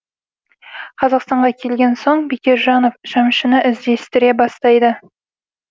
қазақстанға келген соң бекежанов шәмшіні іздестіре бастайды